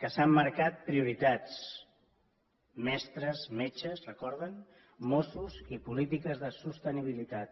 que s’han marcat prioritats mestres metges ho recorden mossos i polítiques de sostenibilitat